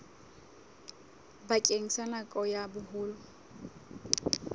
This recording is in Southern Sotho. bakeng sa nako ya boholo